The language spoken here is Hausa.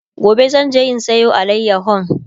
gobe zanje in Sayo alayahon